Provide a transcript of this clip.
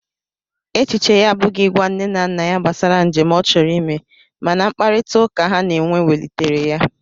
Echiche ya abụghị ịgwa nne na nna ya gbasara njem ọ chọrọ ime, mana mkparịtaụka ha na-enwe welitere ya.